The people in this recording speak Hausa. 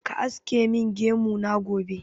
Ka aske min gemu na gobe!